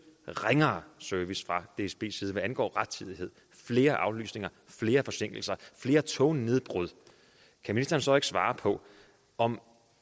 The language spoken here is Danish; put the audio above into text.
ringere service fra dsbs side hvad angår rettidighed flere aflysninger flere forsinkelser flere tognedbrud kan ministeren så ikke svare på om